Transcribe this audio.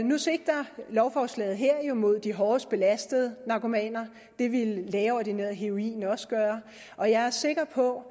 nu sigter lovforslaget her jo mod de hårdest belastede narkomaner det ville lægeordineret heroin også gøre og jeg er sikker på